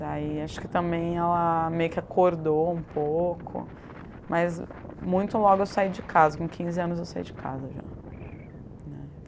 Daí acho que também ela meio que acordou um pouco, mas muito logo eu saí de casa, com quinze anos eu saí de casa já, né.